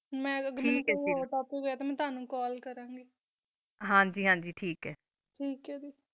ਮਾ ਤਾ ਬੋਹਤ ਕੁਸ਼ ਹੋਈ ਆ ਟੋਨੋ ਕਾਲ ਕਰਨ ਲੀ